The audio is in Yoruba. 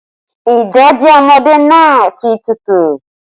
Ìdèdí ọmọdé náà ti tútù